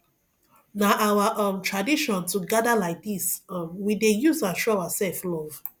na our um tradition to gather like dis um we dey use am show ourselves love